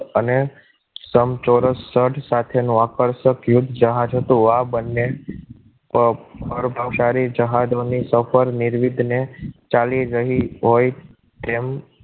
સમ ચોરસ સ્થળ સાથેનું આકર્ષક યુદ્ધ જહાજ હતું આ બંને પર પ્રભાવશાળી જહાજોને સફર નિર્વિધને ચાલી રહી હોય તેમ